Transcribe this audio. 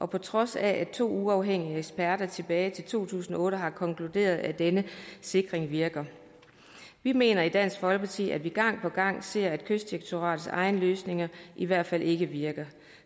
på trods af at to uafhængige eksperter tilbage i to tusind og otte har konkluderet at denne sikring virker vi mener i dansk folkeparti at vi gang på gang ser at kystdirektoratets egne løsninger i hvert fald ikke virker